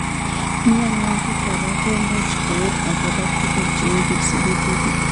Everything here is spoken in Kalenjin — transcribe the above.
Mionwek kora ko much koek akopo tuguk cheu kipsebetit.